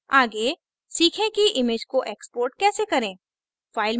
आगे सीखे कि image को export कैसे करें